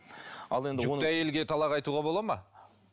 ал енді жүкті әйелге талақ айтуға болады ма